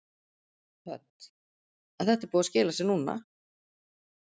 Hödd: En þetta er búið að skila sér núna?